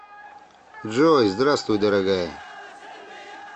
джой здравствуй дорогая